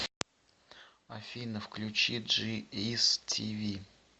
афина включи джи ис ти ви